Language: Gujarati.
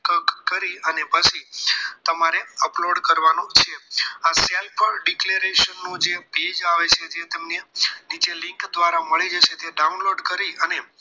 કરી અને પછી તમારે upload કરવાનું છે આ self declaration નું page આવે છે જે તમને નીચે link દ્વારા તમને મળી જશે તે download કરી